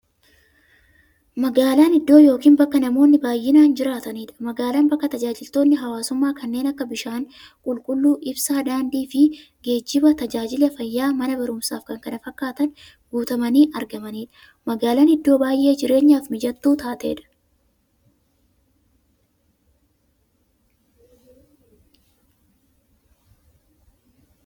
Magaalan iddoo yookiin bakka namoonni baay'inaan jiraataniidha. Magaalan bakka taajajilootni hawwaasummaa kanneen akka; bishaan qulqulluu, ibsaa, daandiifi geejjiba, taajajila fayyaa, Mana baruumsaafi kanneen kana fakkatan guutamanii argamaniidha. Magaalan iddoo baay'ee jireenyaf mijattuu taateedha.